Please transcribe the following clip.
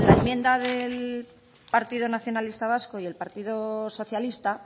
enmienda del partido nacionalista vasco y el partido socialista